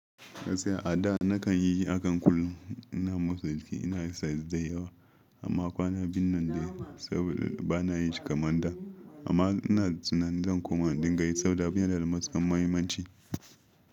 Gaskiya a da nakan yi hakan kullum. Ina motsa jiki, ina exercise da yawa amma kwana biyun nan dai saboda bana yi shi kamar da amma ina tunanin kuma dinga yi saboda abun yana da matukar muhimmanci.